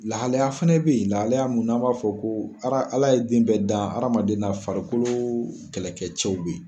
Lahalaya fɛnɛ bɛ yen, lahalaya mun n'a b'a fɔ ko ala ye den bɛ dan, hadamaden na farikolo kɛlɛkɛ cɛw bɛ yen.